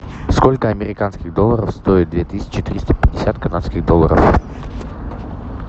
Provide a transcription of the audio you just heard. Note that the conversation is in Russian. сколько американских долларов стоит две тысячи триста пятьдесят канадских долларов